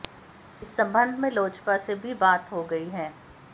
इस संबंध में लोजपा से बात भी हो गई है